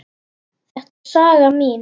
Þetta er saga mín.